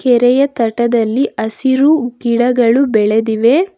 ಕೆರೆಯ ತಟದಲ್ಲಿ ಹಸಿರು ಗಿಡಗಳು ಬೆಳೆದಿವೆ.